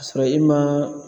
K'a sɔrɔ i man